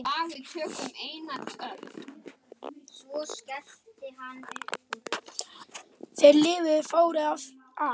Þeir lifðu fárið af